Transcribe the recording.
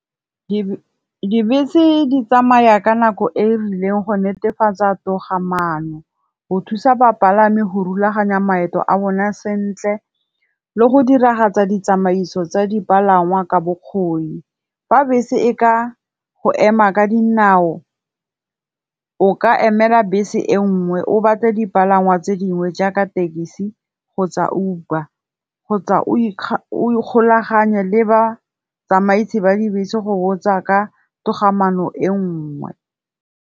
Dibese di tsamaya ka nako e e rileng go netefatsa togamaano, go thusa bapalami go rulaganya maeto a bone sentle le go diragatsa ditsamaiso tsa dipalangwa ka bokgoni. Fa bese e ka go ema ka dinao o ka emela bese e nngwe, o batle dipalangwa tse dingwe jaaka tekesi kgotsa Uber. Kgotsa o ikgolaganye le batsamaisi ba dibese go botsa ka togamaano e nngwe.